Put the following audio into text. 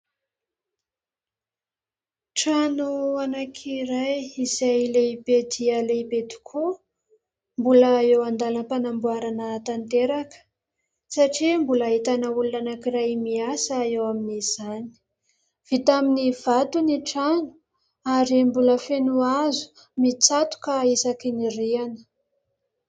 Trano anankiray izay lehibe dia lehibe tokoa, mbola eo an-dalam-panamboarana tanteraka satria mbola ahitana olona anankiray miasa eo amin'izany. Vita amin'ny vato ny trano ary mbola feno hazo mitsatoka isaky ny rihana.